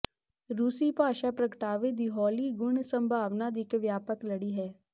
ਰੂਸੀ ਭਾਸ਼ਾ ਪ੍ਰਗਟਾਵੇ ਦੀ ਹੌਲੀ ਗੁਣ ਸੰਭਾਵਨਾ ਦੀ ਇੱਕ ਵਿਆਪਕ ਲੜੀ ਹੈ